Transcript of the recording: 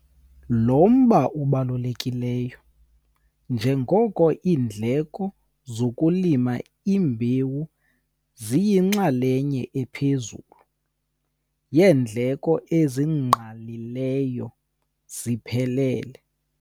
Lo mba ubalulekile njengoko iindleko zokulima imbewu ziyinxalenye ephezulu yeendleko ezingqalileyo ziphelele.